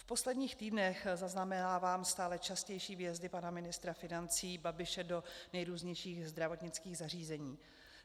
V posledních týdnech zaznamenávám stále častější výjezdy pana ministra financí Babiše do nejrůznějších zdravotnických zařízení.